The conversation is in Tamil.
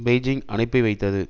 பெய்ஜிங் அனுப்பி வைத்தது